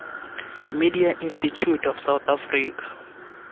media institute of south africa